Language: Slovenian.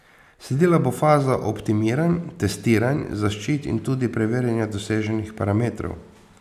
Sledila bo faza optimiranj, testiranj zaščit in tudi preverjanja doseženih parametrov.